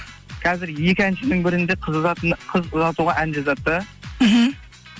қазір екі әншінің бірінде қыз ұзатуға ән жазады да мхм